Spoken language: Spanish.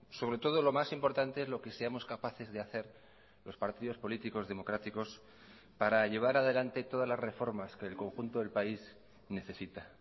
sobre todo lo más importante es lo que seamos capaces de hacer los partidos políticos democráticos para llevar adelante todas las reformas que el conjunto del país necesita